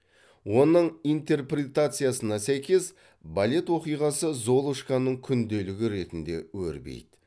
оның интерпретациясына сәйкес балет оқиғасы золушканың күнделігі ретінде өрбиді